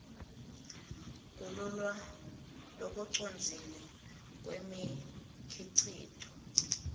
kululwa lokucondzile kwemikhicito